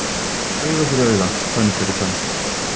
Auga fyrir auga, tönn fyrir tönn